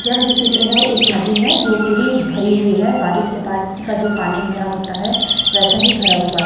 यह जो चित्र है एक नदी है जो पूरी भरी हुई है बारिश के बाद का जो पानी भरा होता है वैसा ही भरा हुआ--